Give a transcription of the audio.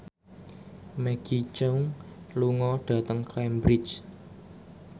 Maggie Cheung lunga dhateng Cambridge